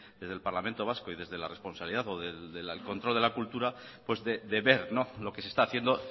desde el parlamento vasco y desde la responsabilidad o del control de la cultura pues de ver lo que se está haciendo